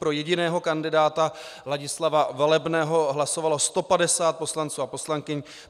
Pro jediného kandidáta Ladislava Velebného hlasovalo 150 poslanců a poslankyň.